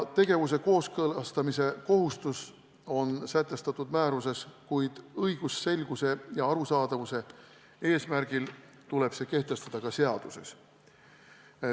Tegevuse kooskõlastamise kohustus on sätestatud määruses, kuid õigusselguse ja arusaadavuse eesmärgil tuleb see kehtestada ka seaduses.